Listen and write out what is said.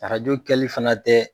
Arajo kɛli fana tɛ